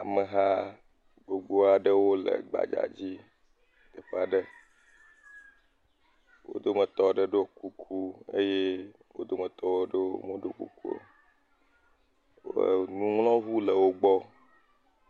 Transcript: Ameha gbogbo aɖewo le gbadza dzi teƒe aɖe. wo dometɔ aɖe ɖo kuku eye wo dommetɔ aɖewo meɖo kuku o. Wobe nuŋlɔŋu le wo gbɔ.